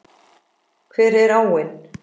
Hver er áin?